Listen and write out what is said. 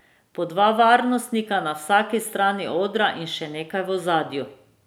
Po dva varnostnika na vsaki strani odra in še nekaj v ozadju.